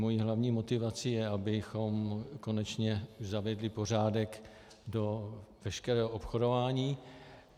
Mou hlavní motivací je, abychom konečně zavedli pořádek do veškerého obchodování.